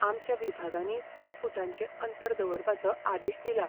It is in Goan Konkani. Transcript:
आमच्या विभागांनी स फुटांचें अंतर दवरपाचो आदेश दिला.